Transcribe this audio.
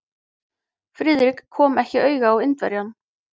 Friðrik kom ekki auga á Indverjann.